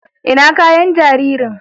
ina kayan jaririn?